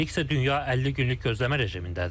Hələlik isə dünya 50 günlük gözləmə rejimindədir.